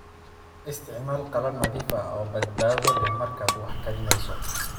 Isticmaal qalab nadiif ah oo badbaado leh markaad wax karinayso.